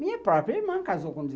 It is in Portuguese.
Minha própria irmã casou com